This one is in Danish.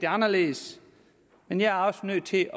anderledes men jeg er også nødt til